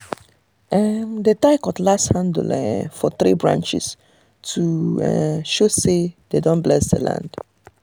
um dem dey tie cutlass handle um for three branch to um show say dem don bless the bless the land.